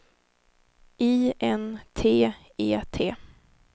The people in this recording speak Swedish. I N T E T